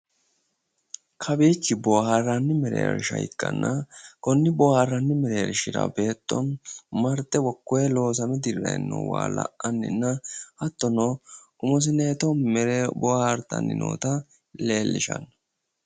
Kawiichi boohaarranni mereeshsha ikkanna konni boohaarranni mereershira beetto marte hakkoye loosame dirranni noo waa la'anninna hattono umosenooto bohaartanni noota leellishanno.